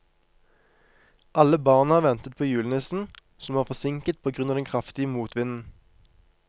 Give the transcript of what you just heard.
Alle barna ventet på julenissen, som var forsinket på grunn av den kraftige motvinden.